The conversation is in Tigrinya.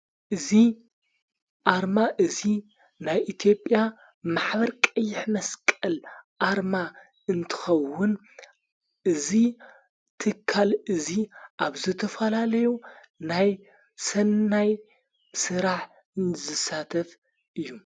እዝ ኣርማ እዙይ ናይ ኢትዮጵያ ማኅበር ቀይሕ መስቀል ኣርማ እንትኸውን እዙይ ትካል እዙይ ኣብዘተፈላለዮ ናይ ሠናይ ሠራሕ ዘሳተፍ እዩ::